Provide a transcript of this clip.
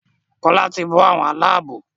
Kola tí bó àwọn Àlàabò.